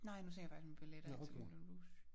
Nej nu tænker jeg faktisk med billetter til Moulin Rouge